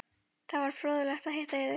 Það var fróðlegt að hitta yður.